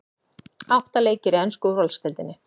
Átta leikir í ensku úrvalsdeildinni